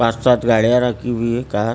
पांच सात गाड़ियां रखी हुई कार --